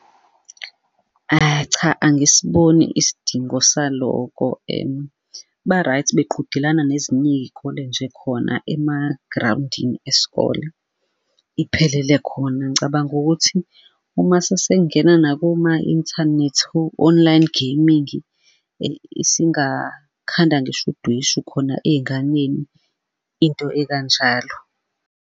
cha, angisiboni isidingo saloko ba-right beqhudelana nezinye iy'kole nje khona emagrawundini esikole, iphelele khona. Ngicabanga ukuthi uma sesengena nakoma-inthanethi o-online gaming singakhanda ngisho udweshu khona ey'nganeni, into ekanjalo.